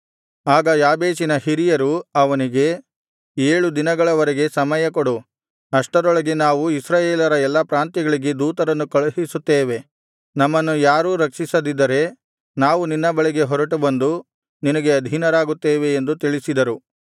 ಆಗ ಯಾಬೇಷಿನ ಹಿರಿಯರು ಅವನಿಗೆ ಏಳು ದಿನಗಳವರೆಗೆ ಸಮಯ ಕೊಡು ಅಷ್ಟರೊಳಗೆ ನಾವು ಇಸ್ರಾಯೇಲರ ಎಲ್ಲಾ ಪ್ರಾಂತ್ಯಗಳಿಗೆ ದೂತರನ್ನು ಕಳುಹಿಸುತ್ತೇವೆ ನಮ್ಮನ್ನು ಯಾರೂ ರಕ್ಷಿಸದಿದ್ದರೆ ನಾವು ನಿನ್ನ ಬಳಿಗೆ ಹೊರಟು ಬಂದು ನಿನಗೆ ಅಧೀನರಾಗುತ್ತೇವೆ ಎಂದು ತಿಳಿಸಿದರು